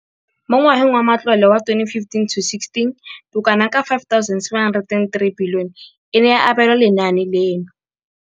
Mo ngwageng wa matlole wa 2015,16, bokanaka R5 703 bilione e ne ya abelwa lenaane leno.